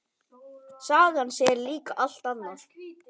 Sagan segir líka allt annað.